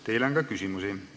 Teile on ka küsimusi.